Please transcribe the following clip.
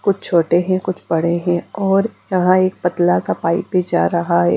कुछ छोटे हैं कुछ बड़े हैं और यहाँ एक पतला सा पाइप भी जा रहा है।